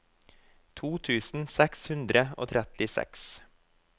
to tusen seks hundre og trettiseks